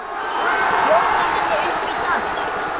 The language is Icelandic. Bjóða henni upp í dans!